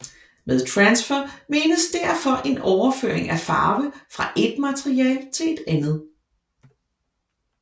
Med transfer menes derfor en overføring af farve fra et materiale til et andet